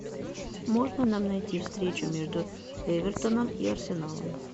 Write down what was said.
можно нам найти встречу между эвертоном и арсеналом